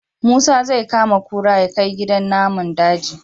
Musa zai kama kura yakai gidan namun daji